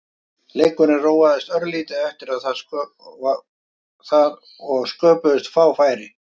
Leikurinn róaðist örlítið eftir það og sköpuðust fá færi.